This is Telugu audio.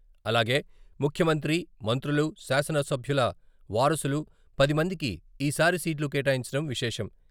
అలాగే, ముఖ్యమంత్రి, మంత్రులు, శాసనసభ్యుల వారసులు పది మందికి ఈ సారి సీట్లు కేటాయించడం విశేషం.